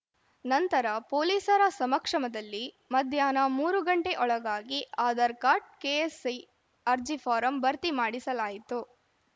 ನಂತರ ಪೊಲೀಸರ ಸಮಕ್ಷಮದಲ್ಲಿ ಮಧ್ಯಾಹ್ನ ಮೂರು ಗಂಟೆ ಒಳಗಾಗಿ ಆಧಾರ್‌ ಕಾರ್ಡ್‌ ಕೆಎಸ್‌ಐಸಿ ಅರ್ಜಿ ಫಾರಂ ಭರ್ತಿ ಮಾಡಿಸಲಾಯಿತು